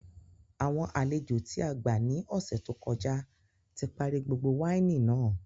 Àwọn àlejò tí a gbà ní ọ̀sẹ̀ tó kọjá tí parí gbogbo wáìnì náà